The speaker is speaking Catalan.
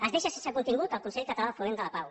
es deixa sense contingut el consell català de foment de la pau